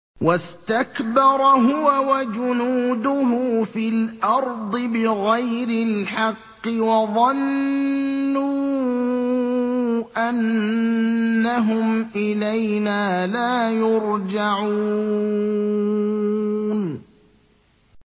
وَاسْتَكْبَرَ هُوَ وَجُنُودُهُ فِي الْأَرْضِ بِغَيْرِ الْحَقِّ وَظَنُّوا أَنَّهُمْ إِلَيْنَا لَا يُرْجَعُونَ